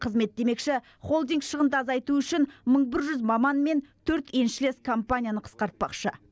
қызмет демекші холдинг шығынды азайту үшін мың бір жүз маман мен төрт еншілес компанияны қысқартпақшы